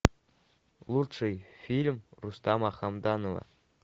лучший фильм рустама хамдамова